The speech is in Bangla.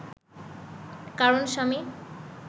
কারণ স্বামী